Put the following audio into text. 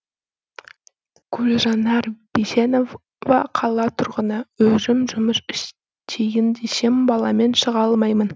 гүлжанар бейсенбаева қала тұрғыны өзім жұмыс істейін десем баламен шыға алмаймын